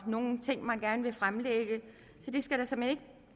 nogle ting man gerne vil fremlægge så det skal der såmænd ikke